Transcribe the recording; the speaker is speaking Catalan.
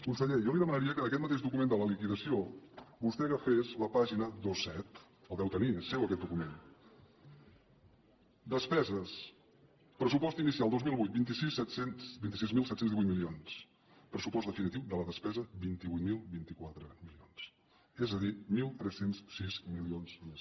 conseller jo li demanaria que d’aquest mateix document de la liquidació vostè agafés la pàgina vint set el deu tenir és seu aquest document despeses pressupost inicial dos mil vuit vint sis mil set cents i divuit milions pressupost definitiu de la despesa vint vuit mil vint quatre milions és a dir tretze zero sis milions més